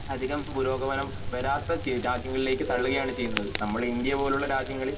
അതികം പുരോഗമനം വരാത്ത രാജ്യങ്ങളിലെക്ക് തള്ളുകയാണ് ചെയ്യുന്നത് നമ്മൾ ഇന്ത്യ പോലുള്ള രാജ്യങ്ങളിൽ